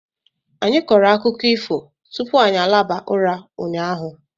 Anyị kọrọ akụkọ ifo tupu anyị alaba ụra ụnyaahụ.